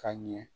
Ka ɲɛ